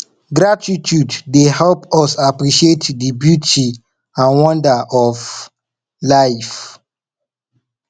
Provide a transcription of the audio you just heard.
gratitude dey help us appreciate di beauty and wonder of life